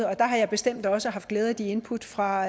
og der har jeg bestemt også haft glæde af de input fra